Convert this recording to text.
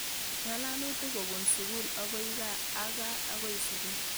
Ng'alalutik kopun sukul akoi kaa ak kaa akoi sukul.